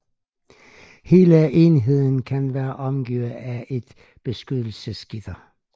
Hele enheden kan være omgivet af et beskyttelsesgitter